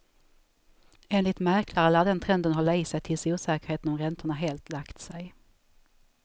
Enligt mäklare lär den trenden hålla i sig tills osäkerheten om räntorna helt lagt sig.